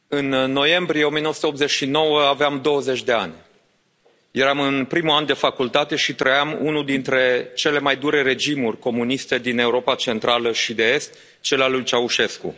Domnule președinte, în noiembrie 1989 aveam 20 de ani. Eram în primul an de facultate și trăiam unul dintre cele mai dure regimuri comuniste din Europa Centrală și de Est cel al lui Ceaușescu.